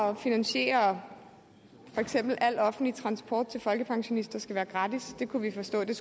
at finansiere at for eksempel al offentlig transport til folkepensionister skal være gratis det kunne vi forstå det